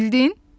Bildin?